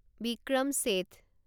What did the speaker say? Vikram Seth